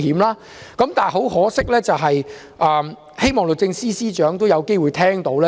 然而，很可惜，我希望律政司司長有機會聽到我的意見。